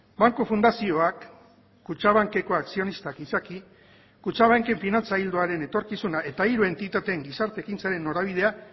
banku fundazioak kutxabankeko akzionistak izaki kutxabanken finantza ildoaren etorkizuna eta hiru entitateen gizarte ekintzaren norabidea